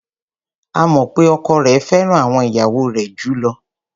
A mọ̀ pé ọkọ rẹ̀ fẹ́ràn àwọn ìyàwó rẹ̀ jù ú lọ.